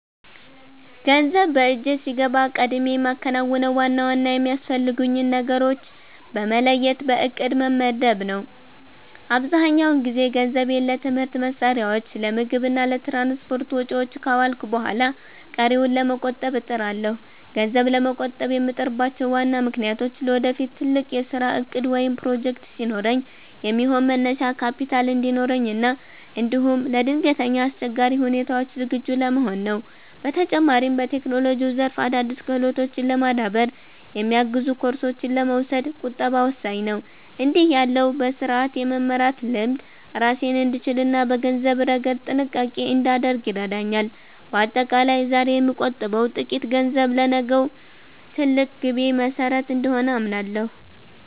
ገንዘብ በእጄ ሲገባ ቀድሜ የማከናውነው ዋና ዋና የሚያስፈልጉኝን ነገሮች በመለየት በዕቅድ መመደብ ነው። አብዛኛውን ጊዜ ገንዘቤን ለትምህርት መሣሪያዎች፣ ለምግብ እና ለትራንስፖርት ወጪዎች ካዋልኩ በኋላ ቀሪውን ለመቆጠብ እጥራለሁ። ገንዘብ ለመቆጠብ የምጥርባቸው ዋና ምክንያቶች ለወደፊት ትልቅ የሥራ ዕቅድ ወይም ፕሮጀክት ሲኖረኝ የሚሆን መነሻ ካፒታል እንዲኖረኝ እና እንዲሁም ለድንገተኛ አስቸጋሪ ሁኔታዎች ዝግጁ ለመሆን ነው። በተጨማሪም፣ በቴክኖሎጂው ዘርፍ አዳዲስ ክህሎቶችን ለማዳበር የሚያግዙ ኮርሶችን ለመውሰድ ቁጠባ ወሳኝ ነው። እንዲህ ያለው በሥርዓት የመመራት ልምድ ራሴን እንድችልና በገንዘብ ረገድ ጥንቃቄ እንዳደርግ ይረዳኛል። በአጠቃላይ፣ ዛሬ የምቆጥበው ጥቂት ገንዘብ ለነገው ትልቅ ግቤ መሠረት እንደሆነ አምናለሁ።